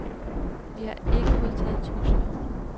Vi har ikke modtaget trusler.